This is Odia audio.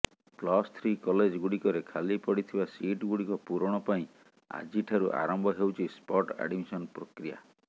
ପ୍ଲସ୍ ଥ୍ରୀ କଲେଜ ଗୁଡ଼ିକରେ ଖାଲିପଡ଼ିଥିବା ସିଟ୍ ଗୁଡ଼ିକ ପୂରଣ ପାଇଁ ଆଜିଠାରୁ ଆରମ୍ଭ ହେଉଛି ସ୍ପଟ ଆଡମିସନ ପ୍ରକ୍ରିୟା